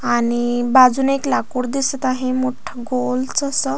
आणि बाजून एक लाकूड दिसत आहे मोठ गोल जस.